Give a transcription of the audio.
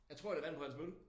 Jeg tror det vand på hans mølle